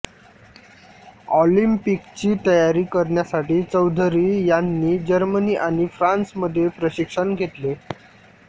ऑलिम्पिकची तयारी करण्यासाठी चौधरी यांनी जर्मनी आणि फ्रान्समध्ये प्रशिक्षण घेतले